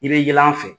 I bɛ yɛlɛ an fɛ